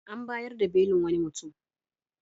An bayar da belin wani mutum.